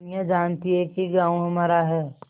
दुनिया जानती है कि गॉँव हमारा है